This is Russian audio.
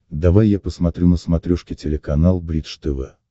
давай я посмотрю на смотрешке телеканал бридж тв